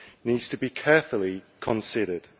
needs to be carefully considered.